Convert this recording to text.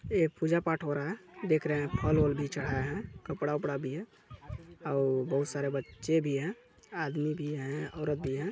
यह पूजा-पाठ हो रहा है देख रहे है फल वल भी चढ़ाये है कपड़ा-वपड़ा भी है अउ बहोत सारे बच्चे भी है आदमी भी है औरत भी है।